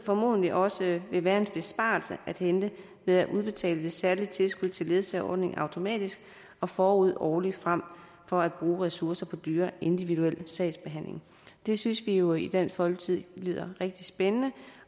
formodentlig også vil være en besparelse at hente ved at udbetale det særlige tilskud til ledsageordningen automatisk forud og årligt frem for at bruge ressourcer på dyr individuel sagsbehandling det synes vi jo i dansk folkeparti lyder rigtig spændende